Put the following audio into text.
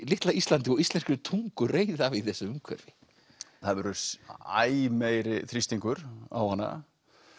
litla Íslandi og íslenskri tungu reiði af í þessu umhverfi það verður æ meiri þrýstingur á hana